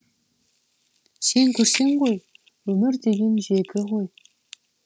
сен көрсең ғой өмір деген жегі ғой